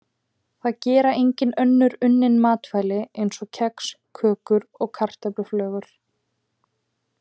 Það gera einnig önnur unnin matvæli eins og kex, kökur og kartöfluflögur.